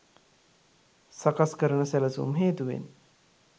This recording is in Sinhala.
සකස් කරන සැලැසුම් හේතුවෙන්